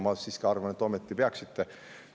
Ma siiski arvan, et ometi peaksite.